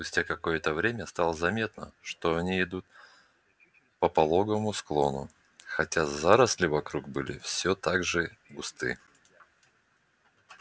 спустя какое-то время стало заметно что они идут по пологому склону хотя заросли вокруг были всё так же густы